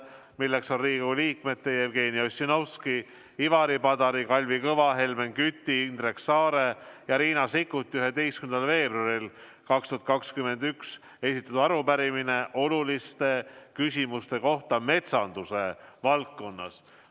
See on Riigikogu liikmete Jevgeni Ossinovski, Ivari Padari, Kalvi Kõva, Helmen Küti, Indrek Saare ja Riina Sikkuti 11. veebruaril 2021 esitatud arupärimine oluliste küsimuste kohta metsanduse valdkonnas.